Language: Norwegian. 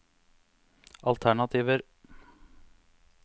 alternativer